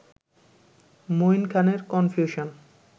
মঈন খানের কনফিউশন